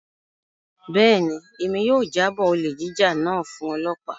Bẹ́ẹ̀ni, Emi yóò jabọo olè jíjà náà fun ọlọpa.